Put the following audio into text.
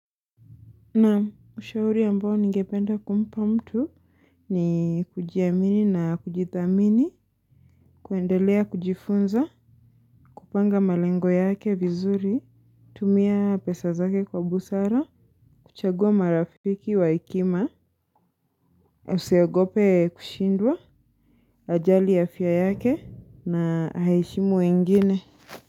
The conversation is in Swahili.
Naam ushauri ambao ningependa kumpa mtu ni kujiamini na kujithamini, kuendelea kujifunza, kupanga malengo yake vizuri, kutumia pesa zake kwa busara, kuchagua marafiki wa hekima, usiogope kushindwa, ajali afya yake na aheshimu wengine.